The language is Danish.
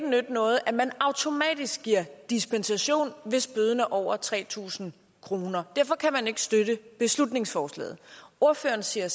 nytte noget at man automatisk giver dispensation hvis bøden er over tre tusind kroner derfor kan man ikke støtte beslutningsforslaget ordføreren siger